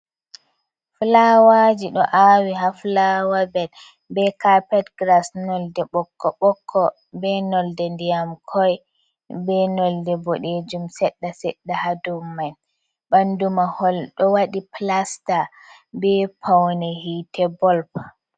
Fulawaji ɗo awi ha fulawa bed be carped grass nolɗe bokko bokko be nolɗe ndiyam koi be nolɗe ɓodejum sedda sedda ha dow mai ɓandu mahol do waɗi pilasta be paune hite bolp.